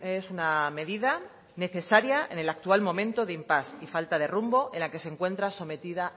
es una medida necesaria en el actual momento de impasse y falta de rumbo en la que se encuentra sometida